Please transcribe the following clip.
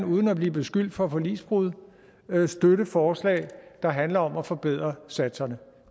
uden at blive beskyldt for forligsbrud kan støtte forslag der handler om at forbedre satserne